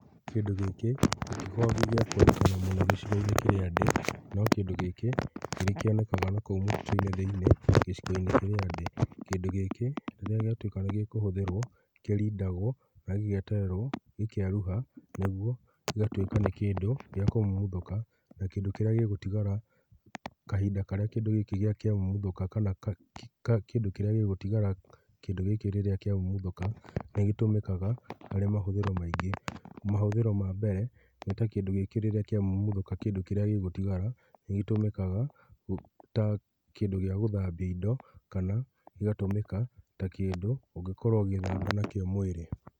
Kĩndũ gĩkĩ nĩ gĩkoragwo gĩa kuoneka mũno gĩcigo-inĩ kĩrĩa ndĩ, no kĩndũ gĩkĩ nĩ gĩkĩonekanaga na kou mũtitũ-inĩ thĩ-inĩ gĩcigo-inĩ kĩrĩa ndĩ. Kĩndũ gĩkĩ rĩrĩa gĩatuĩka nĩ gĩkũhũthĩrwo, nĩ kĩrindagwo na gĩgetererwo gĩkeruha, kũguo, gĩgatuĩka nĩ kĩndũ gĩa kũmumuthũka na kĩndũ kĩrĩa gĩgũtigara kahinda karĩa kĩndũ gĩkĩ kĩamumuthũka kana kĩndũ kĩrĩa gĩgũtigara kĩndũ gĩkĩ rĩrĩa kĩamumuthũka nĩ gĩtũmĩkaga harĩ mahũthĩro maingĩ, mahũthĩro na mbere nĩ ta kĩndũ gĩkĩ rĩrĩa kĩamumuthũka kĩndũ kĩrĩa gĩgũtigara nĩ gĩtũmĩkaga ta kĩndũ gĩa gũthambia indo kana gĩgatũmĩka ta kĩndũ ũngĩkorwo ũgĩthamba nakĩo mwĩrĩ.